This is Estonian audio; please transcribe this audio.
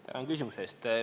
Tänan küsimuse eest!